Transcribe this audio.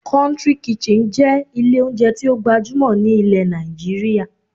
"Country kitchen" jé ilé oúnjẹ tí ó gbajúmọ̀ ní ilẹ̀ Nàìjíríà